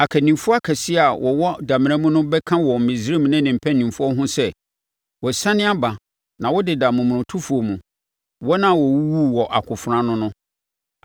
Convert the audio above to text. Akannifoɔ akɛseɛ a wɔwɔ damena mu bɛka wɔ Misraim ne ne mpamfoɔ ho sɛ, ‘Wɔasiane aba na wodeda momonotofoɔ mu, wɔn a wɔwuwuu wɔ akofena ano no.’